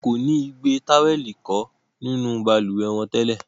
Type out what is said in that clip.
Wọn kò ni igbe-Táwẹ̀lì-kò nínú balùwẹ́ wọn tẹ́lẹ̀